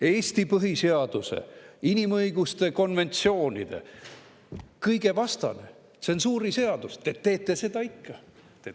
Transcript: Eesti põhiseaduse, inimõiguste konventsioonide, kõige selle vastane tsensuuriseadus – te teete seda ikka!